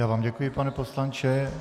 Já vám děkuji, pane poslanče.